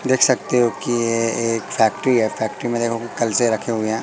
देख सकते हो कि ये एक फैक्ट्री है फैक्ट्री में देखो कलशे रखे हुए हैं।